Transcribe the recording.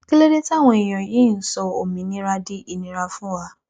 kí ló dé táwọn èèyàn yìí ń sọ òmìnira di ìnira fún wa